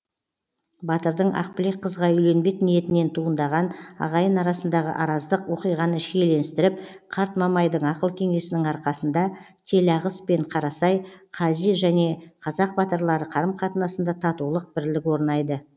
батырдың ақбілек қызға үйленбек ниетінен туындаған ағайын арасындағы араздық оқиғаны шиеленістіріп қарт мамайдың ақыл кеңесінің арқасында телағыс пен қарасай қази және қазақ батырлары қарым қатынасында татулық бірлік орнайды